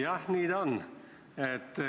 Jah, nii ta on.